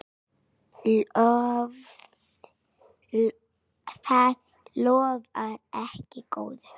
Það lofar ekki góðu.